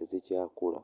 ezikyakula